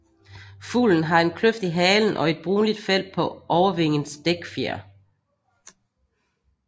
Fuglen har en kløft i halen og et brunligt felt på overvingens dækfjer